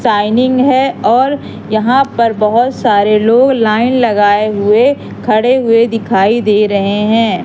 Shining है और यहां पर बहोत सारे लोग लाइन लगाए हुए खड़े हुए दिखाई दे रहे हैं।